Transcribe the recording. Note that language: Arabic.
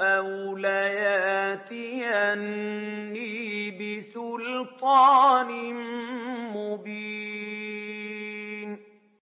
أَوْ لَيَأْتِيَنِّي بِسُلْطَانٍ مُّبِينٍ